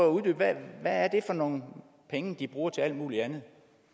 at uddybe hvad det er for nogle penge de bruger til alt muligt andet